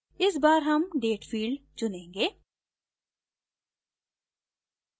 इस बार हम date field चुनेंगे